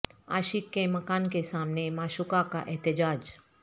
عاشق کے مکان کے سامنے معشوقہ کا احتجاج